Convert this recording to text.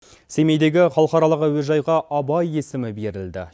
семейдегі халықаралық әуежайға абай есімі берілді